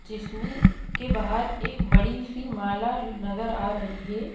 जिसमें के बाहर एक बड़ी सी माला नजर आ रही है।